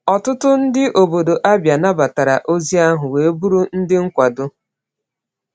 Ọtụtụ ndị obodo Abia nabatara ozi ahụ wee bụrụ ndị nkwado.